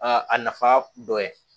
Aa a nafa dɔ ye